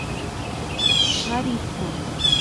лариску